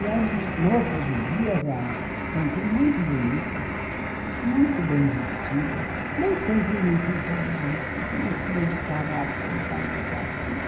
E as moças judias eram sempre muito bonitas, muito bem vestidas, nem sempre muito inteligentes, porque não se dedicavam absolutamente àquilo.